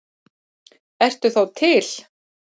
Ertu þá til?